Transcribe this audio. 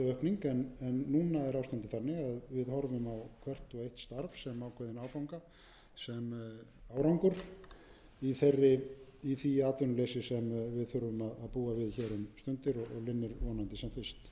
aukning en núna er ástandið þannig að við horfum á hvert og eitt starf sem ákveðinn áfanga sem árangur í því atvinnuleysi sem við þurfum að búa við um stundir og linnir vonandi